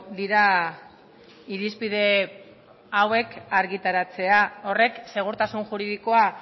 dira irizpide hauek argitaratzea horrek segurtasun juridikoa